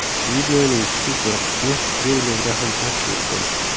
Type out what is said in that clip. Videoning kichik bir qismi treylerda ham aks etgan.